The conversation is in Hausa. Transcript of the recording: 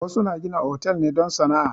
Wasu na gina hotal ne don sana'a.